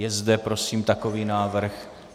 Je zde prosím takový návrh?